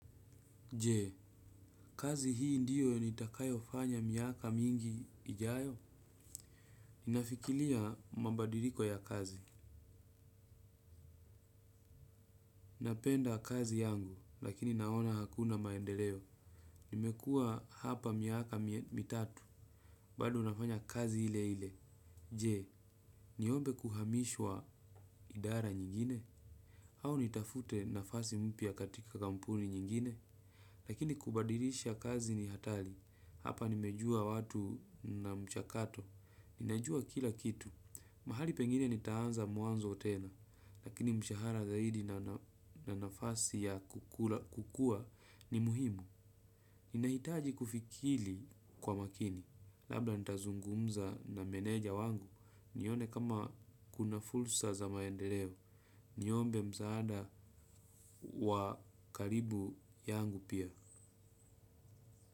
Jee, kazi hii ndiyo nitakayo fanya miaka mingi ijayo? Ninafikilia mabadiriko ya kazi. Napenda kazi yangu, lakini naona hakuna maendeleo. Nimekua hapa miaka mitatu, bado nafanya kazi ile ile. Jee, niombe kuhamishwa idara nyingine? Au nitafute nyafasi mpya katika kampuni nyingine. Lakini kubadilisha kazi ni hatali, hapa nimejua watu na mchakato, ninajua kila kitu. Mahali pengine nitaanza mwanzo otena, lakini mshahara zaidi na nafasi ya kukua ni muhimu. Ninahitaji kufikili kwa makini, labda nitazungumza na meneja wangu, nione kama kuna fulsa za maendeleo, niombe msaada wa karibu yangu pia.